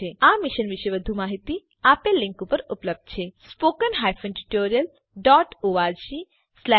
001311 001308 આ મિશન પર વધુ માહીતી આપેલ લીંક પર ઉપલબ્ધ છે httpspoken tutorialorgNMEICT Intro આ રીતે આ ટ્યુટોરીયલનો અંત થાય છે